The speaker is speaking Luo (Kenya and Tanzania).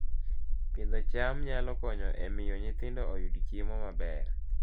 Pidho cham nyalo konyo e miyo nyithindo oyud chiemo maber